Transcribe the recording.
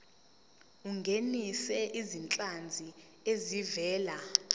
ungenise izinhlanzi ezivela